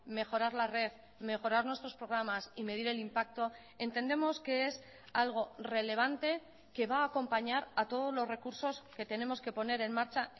mejorar la red mejorar nuestros programas y medir el impacto entendemos que es algo relevante que va a acompañar a todos los recursos que tenemos que poner en marcha